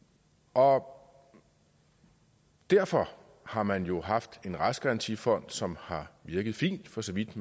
og derfor har man jo haft en rejsegarantifond som har virket fint for så vidt